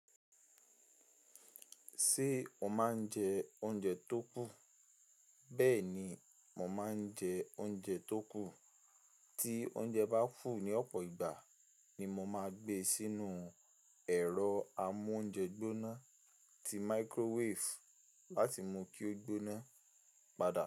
Ṣé o máa ń jẹ oúnjẹ tó kù? Bẹ́ẹ̀ni, mo máa ń jẹ oúnjẹ tó kù. Tí oúnjẹ bá fù ní ọ̀pọ̀ ìgbà ni mo máa gbé sínú ẹ̀rọ amóúnjẹ gbóná ti microwave láti mú kí ó gbóná padà.